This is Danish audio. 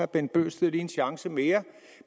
bent bøgsted lige en chance mere